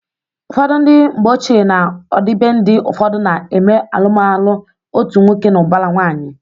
Ụfọdụ ndị mgbeochie na ọdịbendị ụfọdụ na eme alụmalụ otu nwoke na ụbara nwanyị